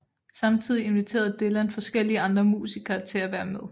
Samtidig inviterede Dylan forskellige andre musikere til at være med